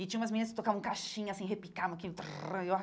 E tinha umas meninas que tocavam caixinha, assim, repicavam aquilo.